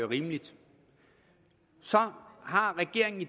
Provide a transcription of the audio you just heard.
rimeligt så har regeringen